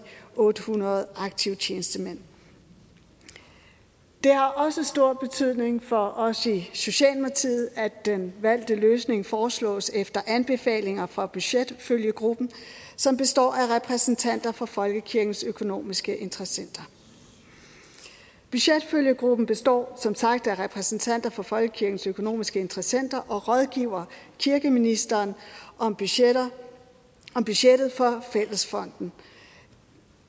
otte hundrede aktive tjenestemænd det har også stor betydning for os i socialdemokratiet at den valgte løsning foreslås efter anbefalinger fra budgetfølgegruppen som består af repræsentanter for folkekirkens økonomiske interessenter budgetfølgegruppen består som sagt af repræsentanter for folkekirkens økonomiske interessenter og den rådgiver kirkeministeren om budgettet budgettet for fællesfonden